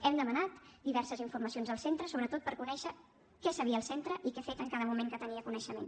hem demanat diverses informacions al centre sobretot per conèixer què sabia el centre i què ha fet en cada moment que en tenia coneixement